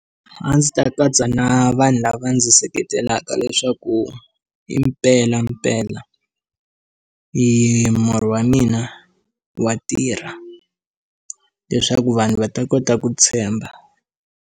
A ndzi ta katsa na vanhu lava ndzi seketelaka leswaku i mpelampela i murhi wa mina wa tirha leswaku vanhu va ta kota ku tshemba.